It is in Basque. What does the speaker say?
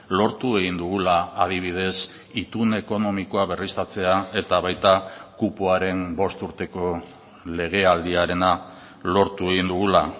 lortu egin dugula adibidez itun ekonomikoa berriztatzea eta baita kupoaren bost urteko legealdiarena lortu egin dugula